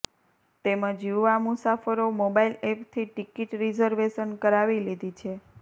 તેમજ યુવા મુસાફરો મોબાઈલ એપથી ટીકીટ રીઝર્વેશન કરાવી લીધી છે